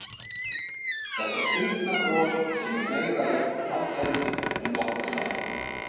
Þetta skrýtna bros sem er meira í ætt við kaldhæðni en nokkuð annað?